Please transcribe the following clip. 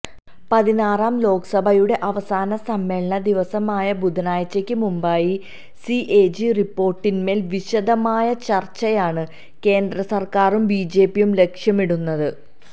പതിനാറാം ലോക്സഭയുടെ അവസാന സമ്മേളന ദിവസമായ ബുധനാഴ്ചയ്ക്ക് മുമ്പായി സിഎജി റിപ്പോര്ട്ടിന്മേല് വിശദമായ ചര്ച്ചയാണ് കേന്ദ്രസര്ക്കാരും ബിജെപിയും ലക്ഷ്യമിടുന്നത്